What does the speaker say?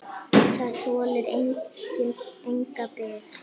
Það þolir enga bið!